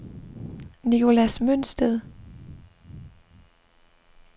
Nicholas Mønsted